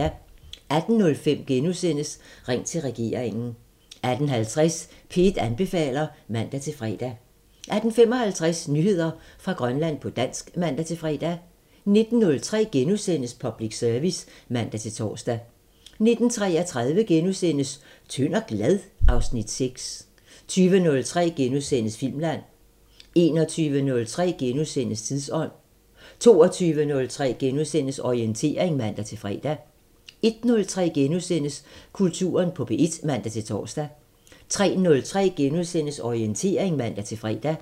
18:05: Ring til regeringen * 18:50: P1 anbefaler (man-fre) 18:55: Nyheder fra Grønland på dansk (man-fre) 19:03: Public Service *(man-tor) 19:33: Tynd og glad? (Afs. 6)* 20:03: Filmland * 21:03: Tidsånd * 22:03: Orientering *(man-fre) 01:03: Kulturen på P1 *(man-tor) 03:03: Orientering *(man-fre)